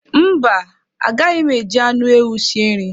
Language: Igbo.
Mba, agaghị m eji anụ ewu sie nri